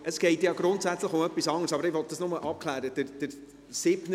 Es geht zwar grundsätzlich um etwas anderes, aber ich möchte das bloss abklären: